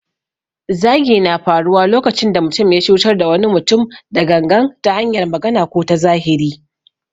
Zagi na faruwa lokacin da mutum ya cutar da wani mutum da gangan ta hanyar magana ko ta zahiri.